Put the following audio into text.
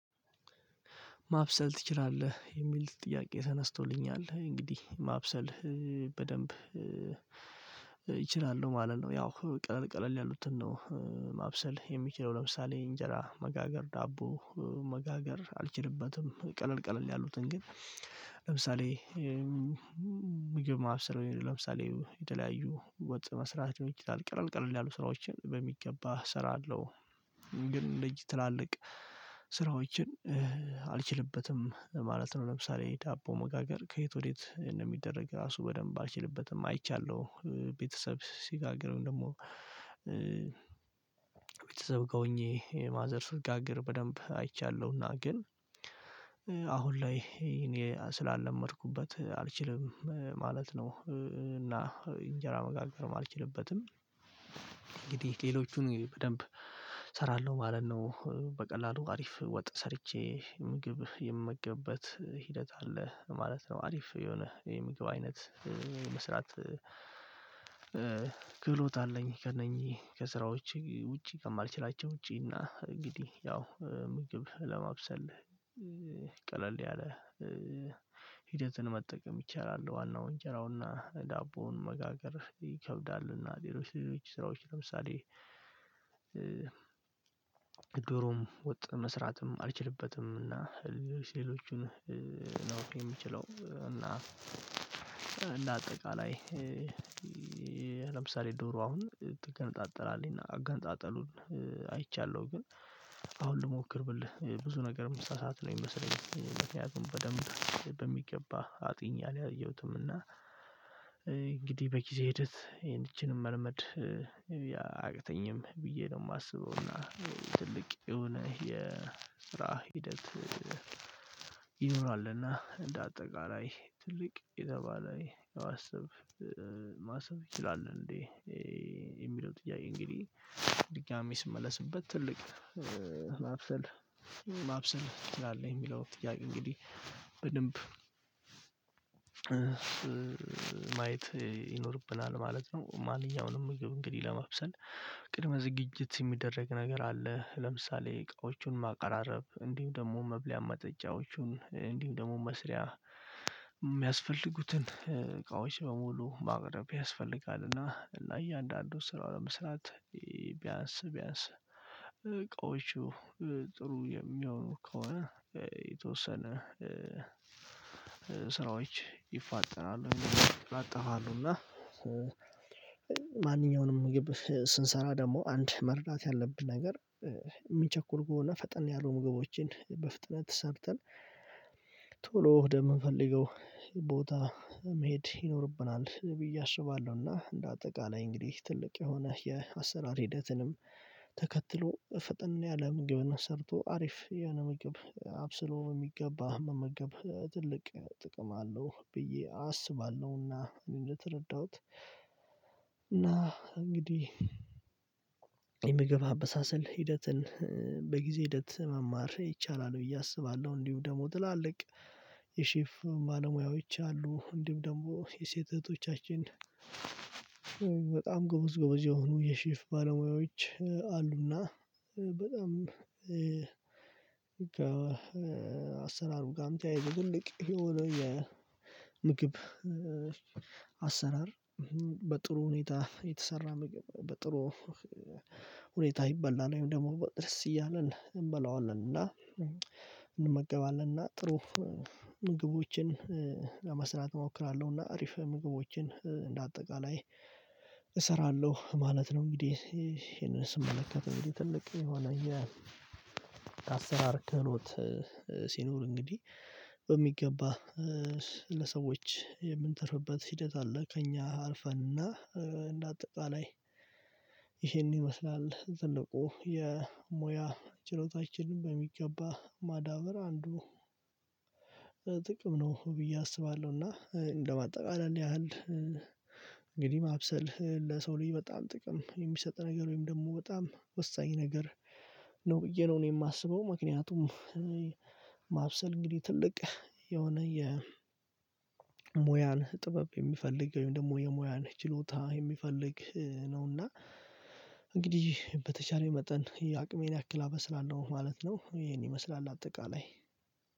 ማብሰል ትችላለህ የሚል ጥያቄ ተነስቶልኛል እንግዲህ ማብሰል በደንብ ይችላሉ ማለት ነው። ያው ቀለል ቀለል ያሉትን ነው። ማብሰል የሚችለው ለምሳሌ እንጀራ መጋገር ዳቦ መጋገር አልችልበትም ቀለል ቀለል ያሉትን ግን። ለምሳሌ ምግብ ማብሰር ለምሳሌ የተለያዩ ወጥ መስራት ይችላል ቅርል ቅርል ያሉ ስራዎችን በሚገባ እሰራለሁ። ግን ልጅ ትላልቅ ስራዎችን አልችልበትም ማለት ነው። ለምሳሌ ዳቦ መጋገር ከየት ወዴት እንደሚደረግ ራሱ በደንብ አልችልበትም። ቤተሰብ ሲጋግርም ደግሞ ቤተሰብ ገብቼ ማዘር ስር ጋግር በደንብ አይቻለሁና ግን አሁን ላይ እኔ ስላልለመድኩበት አልችልም ማለት ነው። እና እንጀራ መጋገርም አልችልበትም። ሌሎቹን በደንብ እሰራለሁ ማለት ነው በቀላሉ አሪፍ ወጥ ሰርቼ ምግብ የምመገብበት ሂደት አለ ማለት ነው። አሪፍ የሆነ የምግብ አይነት መስራት ክህሎት አለኝ። ከእነኚህ ከስራዎች ውጪ ከማልችላቸው ውጪ እና እንግዲህ ያው ምግብ ለማብሰል ቀለል ያለ ሂደትን መጠቀም ይቻላል። ዋናው እንጀራውና ዳቦውን መጋገር ይከብዳልና ሌሎች ሌሎች ስራዎች ለምሳሌ ዶሮም ወጥ መስራትም አልችልበትም። እና ሴሎቹን ነው የምችለው እና እንደ አጠቃላይ ለምሳሌ ዶሮ አሁን ጥገንጣጠላልኝ እና አጋንጣጠሉን አይቻለሁ። ግን አሁን ልሞክር ብልህ ብዙ ነገር እምሳ ሰዓት ነው የሚመስለኝ በተያዘ በደንብ በሚገባ አጥኝ አጥኚ አለ አየሁትምና እንግዲህ በጊዜ ሂደት ይቺንም መልመድ ብዬ ነው የማስበው። እና ትልቅ የሆነ የስራ ሂደት ይኖራልና እንደ አጠቃላይ ትልቅ የተባለ ማሰብ ይችላል። እንዴ የሚለው ጥያቄ እንግዲህ ድጋሚ ስመለስበት ትልቅ ማብሰል ማብሰል ትላለህ የሚለው ጥያቄ? እንግዲህ በደንብ ማየት ይኖርብናል ማለት ነው። ማንኛውንም ምግብ እንግዲህ ለመብሰል ቅድመ ዝግጅት የሚደረግ ነገር አለ ለምሳሌ እቃዎቹን ማቀራረብ እንዲሁ ደግሞ መብለያ መጠጫዎቹን እንዲሁም ደግሞ መስሪያ የሚያስፈልጉትን እቃዎች በሙሉ ማቅረብ ያስፈልጋል። እና እያንዳንዱ ስራው ለመስራት ቢያንስ ቢያንስ እቃዎቹ ጥሩ የሚያውኑ ከሆነ የተወሰነ ስራዎች ይፋጠናሉ ይላጠፋሉ እና ማንኛውንም ምግብ ስንሰራ ደግሞ አንድ መርዳት ያለብን ነገር የሚቸኩል ከሆነ ፈጠን ያሉ ምግቦችን በፍጥነት ሰርተን ሰብተን ቶሎ ደም የምንፈልገው ቦታ መሄድ ይኖርብናል ብዬ አስባለሁና። እንደ አጠቃላይ እንግዲህ ትልቅ የሆነ የአሰራር ሂደትንም ተከትሎ ፈጠን ያለ ምግብ ሰርቶ አሪፍ ያነ ምግብ አብስሎ የሚገባ መመገብ ትልቅ ጥቅም አለው ብዬ አስባለሁና። እንደተረዳሁት እና እንግዲህ የምግብ አበሳሰል ሂደትን በጊዜ ሂደት መማር ይቻላል ብዬ አስባለሁ። እንዲሁም ደግሞ ትላልቅ የሸፍ ባለሙያዎች አሉ እንዲሁ ደግሞ የሴት እህቶቻችን በጣም ጎበዝ ጎበዝ የሆኑ የሸፍ ባለሙያዎች አሉና። በጣም ከአሰራሩም ጋም ተያይዞ ትልቅ የሆነ የምግብ ምግብ አሰራር በጥሩ ሁኔታ የተሰራ ምግብ በጥሩ ሁኔታ ይበላል ወይም ደግሞ ድረስ እያለን እንበላዋለን እና እንመገባለን እና ጥሩ ምግቦችን ለመስራት እሞክራለሁ እና አሪፍ ምግቦችን እንደ አጠቃላይ እሰራለሁ ማለት ነው። እንግዲህ ይሄንን ስመለከት እንግዲህ ትልቅ ይሄው አላየ የአሰራር ክህሎት ሲኖር እንግዲህ በሚገባ ለሰዎች የምንተርፍበት ሂደት አለ። ከእኛ አልፈንና እንደ አጠቃላይ ይሄን ይመስላል ትልቁ የሙያ ችሎታችንን በሚገባ ማዳበር አንዱ ጥቅም ነው ብዬ አስባለሁ። እና እንደማጠቃለል ያህል ማብሰል ለሰው ልጅ በጣም ጥቅም የሚሰጥ ነገር ወይም ደግሞ በጣም ወሳኝ ነገር ነው ብዬ ነው የማስበው። ምክንያቱም ማብሰል እንግዲህ ትልቅ የሆነ የሙያን ጥበብ የሚፈልግ ወይም ደግሞ የሙያን ችሎታ የሚፈልግ ነውና። በተቻለኝ መጠን የአቅሜን ያክል አበስላለሁ ማለት ነው። ይሄን ይመስላል አጠቃላይ